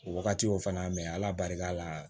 O wagati o fana mɛ ala barika la